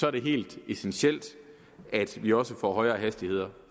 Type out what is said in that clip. er det helt essentielt at vi også får højere hastigheder